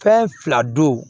Fɛn fila don